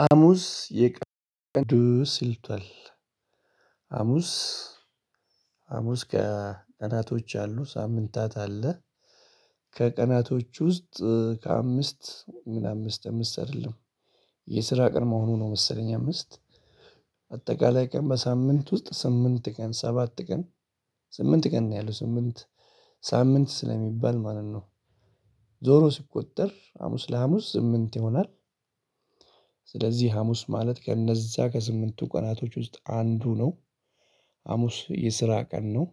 ሀሙስ የቀን ቅዱስ ይሉታል። ሀሙስ ከቀናቶች አሉ ሳምንታት አለ። ከቀናቶች ውስጥ ከአምስት ምን አምስት አምስት አይደለም። የስራ ቀን መሆኑ ነው መሰለኝ አምስት። አጠቃላይ ቀን በሳምንት ውስጥ ስምንት ቀን ሰባት ቀን። ስምንት ቀን ነው ያለው ስምንት ሳምንት ስለሚባል ማለት ነው። ዞሮ ሲቆጠር ሀሙስ ለሀሙስ ስምንት ይሆናል። ስለዚህ ሀሙስ ማለት ከእነዛ ከስምንቱ ቀናቶች ውስጥ አንዱ ነው። ሀሙስ የስራ ቀን ነው።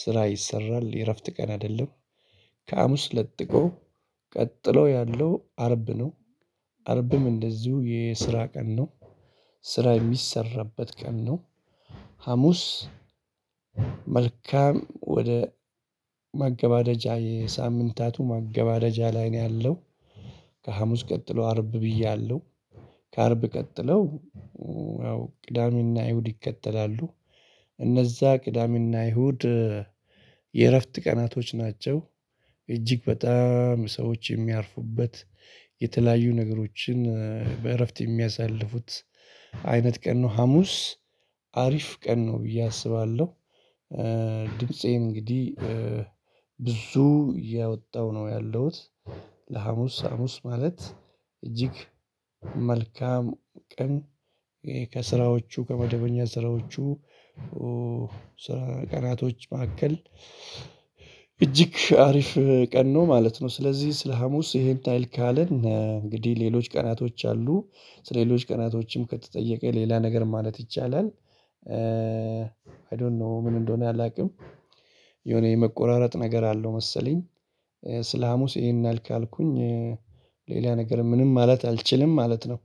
ስራ ይሰራል የእረፍት ቀን አይደለም። ከሃሙስ ለጥቆ ቀጥሎ ያለው አርብ ነው። አርብም እንደዚሁ የስራ ቀን ነው። ስራ የሚሰራበት ቀን ነው። ሀሙስ መልካም ወደ ማገባደጃ የሳምንታቱ ማገበደጃ ላይ ነው ያለው። ከሀሙስ ቀጥሎ አርብ ብዬሃለው። ከአርብ ቀጥለው ያው ቅዳሜና እሁድ ይከተላሉ። እነዛ ቅዳሜና አይሁድ የእረፍት ቀናቶች ናቸው። እጅግ በጣም ሰዎች የሚያርፉበት የተለያዩ ነገሮችን በእረፍት የሚያሳልፉት አይነት ቀን ነው ሀሙስ አሪፍ ቀን ነው ብዬ አስባለሁ። ድምፄ እንግዲህ ብዙ እያወጣሁ ነው ያለውት። ለሀሙስ ሀሙስ ማለት እጅግ መልካም ቀን ከስራዎቹ ከመደበኛ ስራዎቹ ቀናቶች መካከል እጅግ አሪፍ ቀን ነው ማለት ነው። ስለዚህ ስለ ሀሙስ ይሄን ያህል ካለን እንግዲህ ሌሎች ቀናቶች አሉ ስለ ሌሎች ቀናቶችም ከተጠየቀ ሌላ ነገር ማለት ይቻላል። አይ ዶንት ኖ ምን እንደሆነ አላውቅም። የሆነ የመቆራረጥ ነገር አለው መሰለኝ። ስለ ሀሙስ ይሄን ያህል ካልኩኝ ሌላ ነገር ምንም ማለት አልችልም ማለት ነው።